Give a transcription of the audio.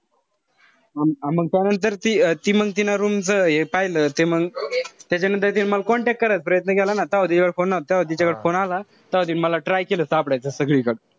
मंग त्यानंतर ती ती मंग तिनं room च हे पाहिलं. ते मंग त्याच्यानंतर तिनी मला contact करायचा प्रयत्न केला ना. तव्हा तिच्याकडे phone नव्हता. phone आला. तव्हा तिनी मला try केला सापडायचा सगळीकडे.